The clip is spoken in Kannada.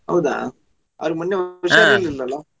ಹೌದಾ ಅವರಿಗೆ ಮೊನ್ನೆ ಹುಷಾರಿರಲಿಲ್ಲ ಅಲ್ಲಾ